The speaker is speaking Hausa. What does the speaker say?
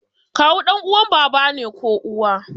Kawu ɗan uwan baba ne ko uwa